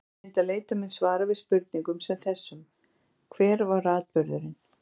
Til að mynda leita menn svara við spurningum sem þessum: Hver var atburðurinn?